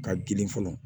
Ka girin fɔlɔ